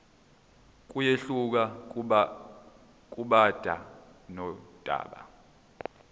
kuyehluka kudaba nodaba